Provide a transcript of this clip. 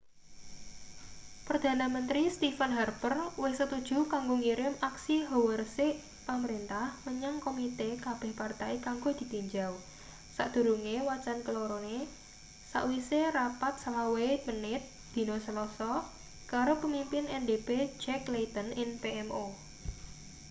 perdana menteri stephen harper wis setuju kanggo ngirim aksi hawa resik' pamrentah menyang komite kabeh partai kanggo ditinjau sakdurunge wacan kelorone sakwise rapat 25 menit dina selasa karo pemimpin ndp jack layton ing pmo